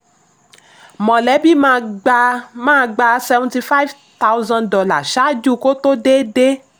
mọ̀lẹ́bí máa gba máa gba seventy five thousand dollar ṣáájú kó tó déédéé.